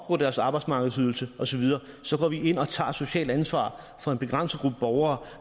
deres arbejdsmarkedsydelse og så videre så går vi ind og tager et socialt ansvar for en begrænset gruppe borgere